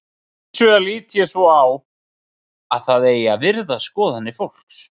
Hins vegar lít ég svo á að það eigi að virða skoðanir fólks.